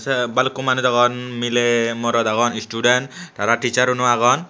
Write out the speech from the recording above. tey balukko manus agon miley morot agon istiden tara tissaruno agon.